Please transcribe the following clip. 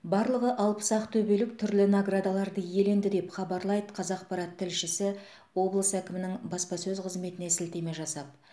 барлығы алпыс ақтөбелік түрлі наградаларды иеленді деп хабарлайды қазақпарат тілшісі облыс әкімінің баспасөз қызметіне сілтеме жасап